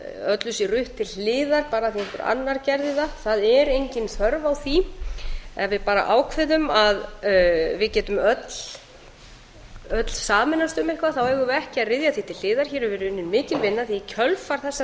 öllu sé rutt til hliðar bara af því að einhver annar gerði það það er engin á þörf á því ef við bara ákveðum að við getum öll sameinast um eitthvað þá eigum við ekki að ryðja því til hliðar hér hefur verið unnin mikil vinna því að í kjölfar þessarar